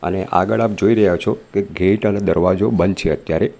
અને આગળ આપ જોઈ રહ્યા છો કે ગેટ અને દરવાજો બંધ છે અત્યારે.